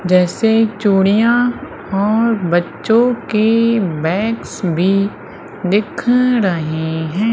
जैसे चूड़ियां और बच्चों की बैग्स भी दिख रहे हैं।